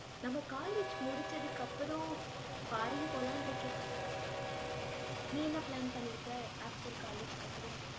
நம்ம college முடிச்சதுக்கு அப்புறம், foreign போலாம்னு இருக்கேன். நீ என்ன plan பண்ணிருக்க? after college க்கு அப்புறம்?